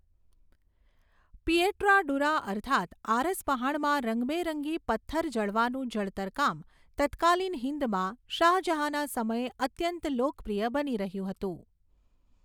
Pietra dura અર્થાત આરસપહાણમાં રંગબેરંગી પથ્થર જડવાનું જડતર કામ તત્કાલીન હિંદમા શાહજહાના સમયે અત્યંત લોકપ્રિય બની રહ્યું હતું.